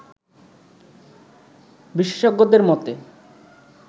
বিশেষজ্ঞদের মতে